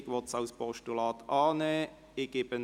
Die Regierung will sie als Postulat annehmen.